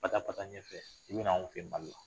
Ka taa ka taa ɲɛfɛ, i bɛ na anw fɛ Mali la